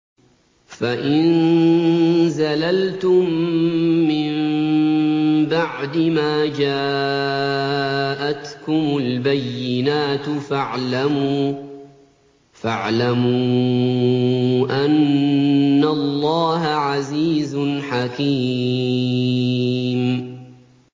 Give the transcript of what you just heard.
فَإِن زَلَلْتُم مِّن بَعْدِ مَا جَاءَتْكُمُ الْبَيِّنَاتُ فَاعْلَمُوا أَنَّ اللَّهَ عَزِيزٌ حَكِيمٌ